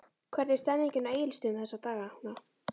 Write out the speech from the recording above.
Hvernig er stemningin á Egilsstöðum þessa dagana?